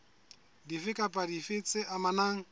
dife kapa dife tse amanang